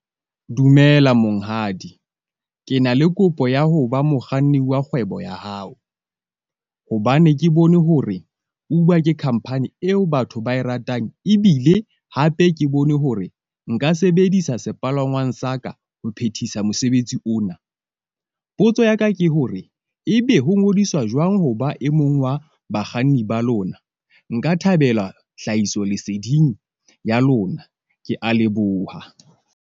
Dumela monghadi. Ke na le kopo ya ho ba mokganni wa kgwebo ya hao, hobane ke bone hore Uber ke khampani eo batho ba e ratang. Ebile hape ke bone hore nka sebedisa sepalangwang sa ka ho phethisa mosebetsi ona. Potso ya ka ke hore ebe ho ngodiswa jwang ho ba e mong wa bakganni ba lona? Nka thabela hlahisoleseding ya lona. Kea leboha.